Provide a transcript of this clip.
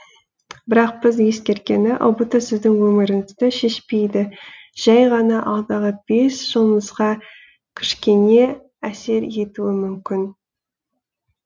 бірақ бір ескеретіні ұбт сіздің өміріңізді шешпейді жәй ғана алдағы бес жылыңызға кішкене әсер етуі мүмкін